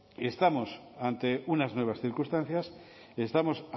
estamos ante unas nuevas circunstancias y estamos